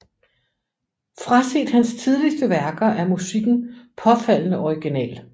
Fraset hans tidligste værker er musikken påfaldende original